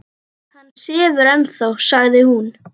Hann sefur ennþá, sagði hún.